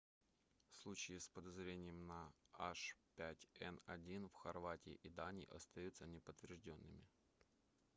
случаи с подозрениями на h5n1 в хорватии и дании остаются неподтверждёнными